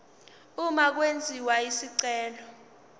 uma kwenziwa isicelo